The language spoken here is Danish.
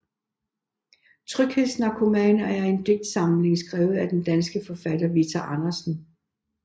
Tryghedsnarkomaner er en digtsamling skrevet af den danske forfatter Vita Andersen